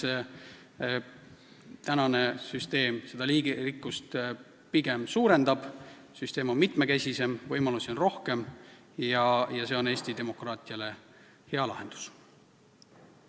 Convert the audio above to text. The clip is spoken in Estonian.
Ja me arvame, et praegune süsteem seda liigirikkust pigem suurendab: süsteem on mitmekesisem, võimalusi on rohkem ja see on Eesti demokraatia seisukohast hea lahendus.